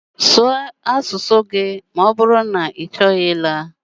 Na asụ asụsụ ndi ụloakwụkwọ ọ bụrụ na ichọghị ịla